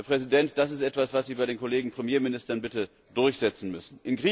Herr Präsident, das ist etwas, was Sie bei den Kollegen Premierministern bitte durchsetzen müssen!